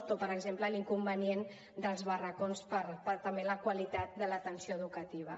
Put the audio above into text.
o per exemple l’inconvenient dels barracons per a també la qualitat de l’atenció educativa